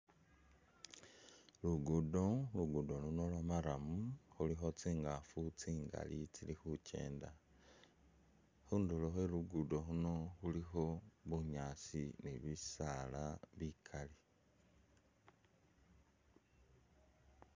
Lugudo, lugudo luno lwa’murram khulikho tsingafu tsingali tsili khukyenda ,khunduro khwe lugudo khuno khulikho bunyaasi ni bisala bikali.